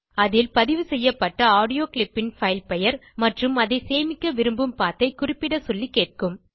அதில் பதிவு செய்யப்பட்ட ஆடியோ clipன் பைல் பெயர் மற்றும் அதை சேமிக்க விரும்பும் பத் ஐ குறிப்பிட சொல்லி கேட்கும்